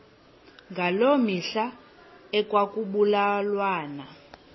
ngaloo mihla ekwakubulawa